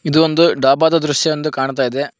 ಇದು ಒಂದು ಡಾಬಾದ ದೃಶ್ಯ ಎಂದು ಕಾಣ್ತಾ ಇದೆ.